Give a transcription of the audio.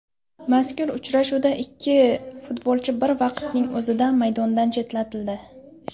Mazkur uchrashuvda ikki futbolchi bir vaqtning o‘zida maydondan chetlatildi.